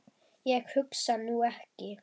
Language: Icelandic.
Ég hugsa nú ekki.